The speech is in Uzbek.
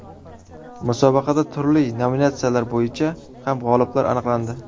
Musobaqada turli nominatsiyalar bo‘yicha ham g‘oliblar aniqlandi.